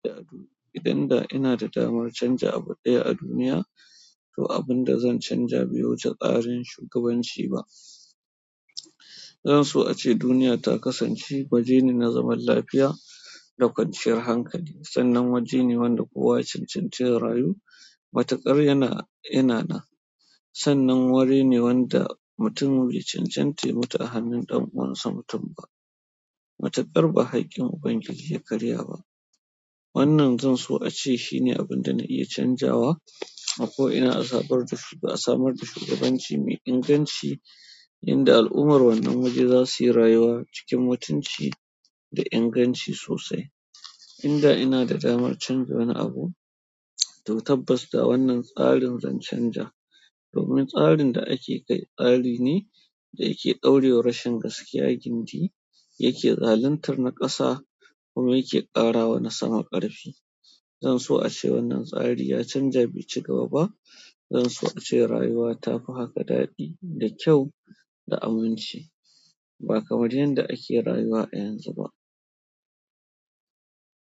Idan da ina da damar canja abu ɗaya a duniya, to abin da zan canja bai wuce tsarin shugabanci ba. Zan so ace duniya ta kasance waje ne na zaman lafiya da kwanciyar hankali, sannan waje ne wanda kowa ya cancanci ya rayu matuƙar yana, yana nan. Sannan wuri ne wanda mutumi bai cancanta ya mutu a hannun ɗan uwansa mutum ba. Matuƙar ba haƙƙin Ubangiji ya karya ba. Wannan zan so ace shi ne abin da na iya canjawa, a ko ina asabar da, asamar da shugabanci mai inganci, inda al'ummar wannan waje za su yi rayuwa cikin mutunci da inganci sosai. Inda ina da damar canja wani abu, to tabbas da wannan tsarin zan canza. Domin tsarin da ake kai tsari ne da yake daurewa rashin gaskiya gindi, yake zaluntar na ƙasa kuma yake ƙara wa na sama ƙarfi. Zan so ace wannan tsari ya canja be cigaba ba. Zan so ace rayuwa ta fi haka daɗi da kyau da aminci, ba kamar yanda ake rayuwa a yanzu ba.